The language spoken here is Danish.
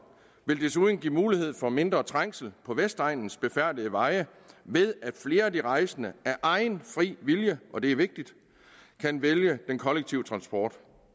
vil desuden give mulighed for mindre trængsel på vestegnens befærdede veje ved at flere af de rejsende af egen fri vilje og det er vigtigt kan vælge den kollektive transport